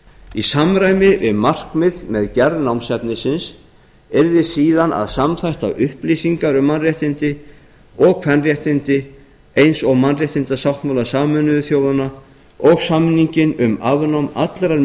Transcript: í samræmi við markmið með gerð námsefnisins yrði síðan að samþætta upplýsingar um mannréttindi og kvenréttindi eins og mannréttindasáttmála sameinuðu þjóðanna og samninginn um afnám allrar